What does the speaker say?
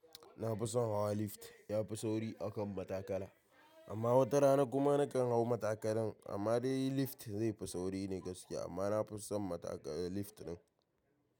Na fi son hawa lift, ya fi sauri a kan matakala. Amma wata rana kuma na kan hau matakalan. Amma dai lift zai fi sauri ne gaske amma na fi son matakala lift din.